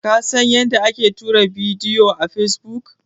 Ka san yadda ake tura bidiyo a fesbuk?